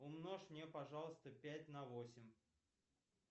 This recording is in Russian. умножь мне пожалуйста пять на восемь